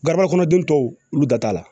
Garaba kɔnɔden tɔw olu da t'a la